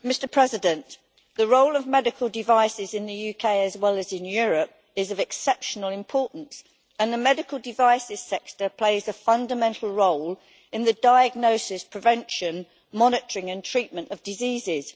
Mr President, the role of medical devices in the UK, as well as in Europe, is of exceptional importance, and the medical devices sector plays a fundamental role in the diagnosis, prevention, monitoring and treatment of diseases.